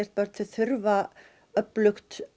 börn þurfa öflugt